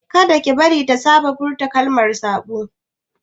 Kada ki bari ta saba da furta kalaman saɓo!